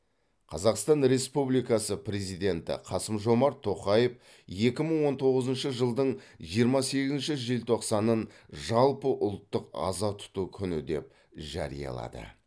қазақстан республикасы президенті қасым жомарт тоқаев екі мың он тоғызыншы жылдың жиырма сегізінші желтоқсанын жалпыұлттық аза тұту күні деп жариялады